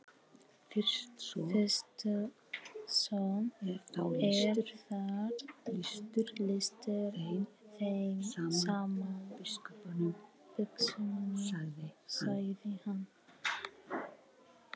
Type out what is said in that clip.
Fyrst svo er þá lýstur þeim saman biskupunum, sagði hann.